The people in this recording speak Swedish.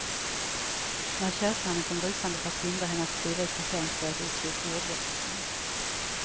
När köpmannen kom rusande för att hindra henne att skriva ut parkeringsböter uppstod ordväxling.